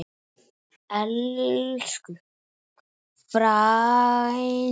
Elsku frænka!